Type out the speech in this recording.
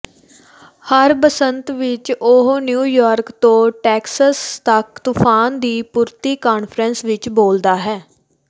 ਹਰ ਬਸੰਤ ਵਿੱਚ ਉਹ ਨਿਊਯਾਰਕ ਤੋਂ ਟੈਕਸਸ ਤੱਕ ਤੂਫ਼ਾਨ ਦੀ ਪੂਰਤੀ ਕਾਨਫਰੰਸ ਵਿੱਚ ਬੋਲਦਾ ਹੈ